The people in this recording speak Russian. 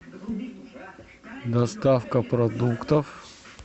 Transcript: доставка продуктов